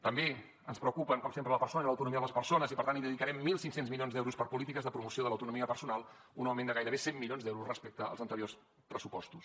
també ens preocupen com sempre la persona i l’autonomia de les persones i per tant dedicarem mil cinc cents milions d’euros a polítiques de promoció de l’autonomia personal un augment de gairebé cent milions d’euros respecte als anteriors pressupostos